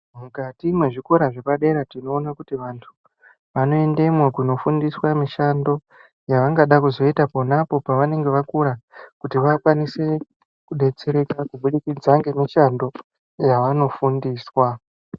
Mukati mwe zvikora zvepadera tinoona kuti vantu vanoendemwo kuno fundiswa mishando yavangada kuzoita ponapo pavanenge vakura kuti vakwanise kudetsereka kubudikidza nge mushando yavano fundiswa.